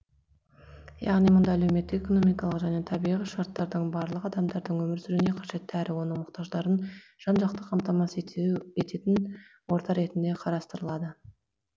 яғни мұнда әлеуметтік экономикалық және табиғи шарттардың барлығы адамдардың өмір сүруіне қажетті әрі оның мұқтаждықтарын жан жақты қамтамасыз ететін орта ретінде қарастырылады